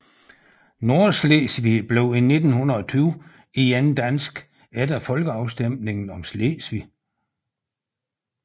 Nordslesvig blev i 1920 igen dansk efter folkeafstemningen om Slesvig